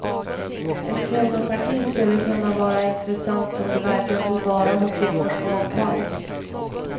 Ett kvinnoparti skulle kunna vara intressant om det verkligen tog vara på kvinnors mångfald.